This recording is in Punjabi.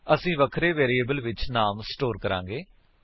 ਅਸੀ ਵਖਰੇ ਵੇਰਿਏਬਲ ਵਿੱਚ ਨਾਮ ਨੂੰ ਸਟੋਰ ਕਰਾਂਗੇ